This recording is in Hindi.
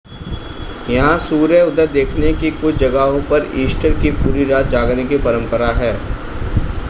यहां सूर्योदय देखने की कुछ जगहों पर ईस्टर की पूरी रात जागने की परंपरा है